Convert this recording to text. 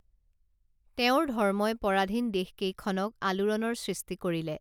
তেওঁৰ ধৰ্মই পৰাধীন দেশকেইখনত আলোড়নৰ সৃষ্টি কৰিলে